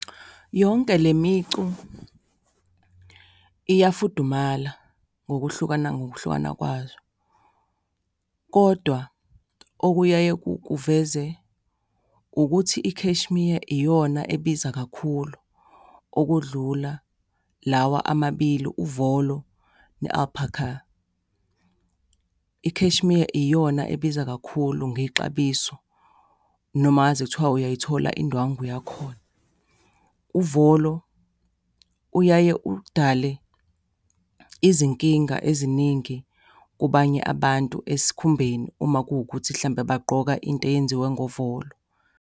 Yonke le micu iyafudumala ngokuhlukana ngokuhlukana kwazo, kodwa okuyaye kuveze, ukuthi i-cashmere iyona ebiza kakhulu okudlula lawa amabili, uvolo ne-alpaca. I-cashmere iyona ebiza kakhulu ngexabiso, noma ngaze kuthiwa uyayithola indwangu yakhona. Uvolo uyaye udale izinkinga eziningi kubanye abantu esikhumbeni uma kuwukuthi mhlawumbe bagqoka into eyenziwe ngovolo.